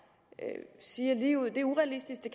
siger ligeud er urealistisk